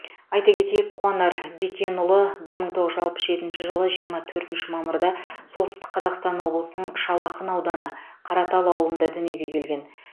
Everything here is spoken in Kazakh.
айта кетейік қуанар бекенұлы бір мың тоғыз жүз алпыс жетінші жылы жиырма төртінші мамырда солтүстік қазақстан облысының шал ақын ауданы қаратал ауылында дүниеге келген